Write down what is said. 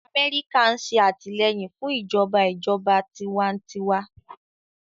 Amẹ́ríkà ń ṣe àtìlẹ́yìn fún ìjọba ìjọba tiwantiwa